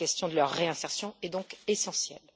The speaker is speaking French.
La question de leur réinsertion est donc essentielle.